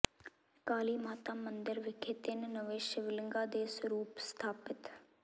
ਕਾਲੀ ਮਾਤਾ ਮੰਦਿਰ ਵਿਖੇ ਤਿੰਨ ਨਵੇਂ ਸ਼ਿਵਲਿੰਗਾਂ ਦੇ ਸਰੂਪ ਸਥਾਪਿਤ